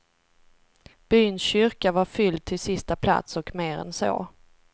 Byns kyrka var fylld till sista plats, och mer än så.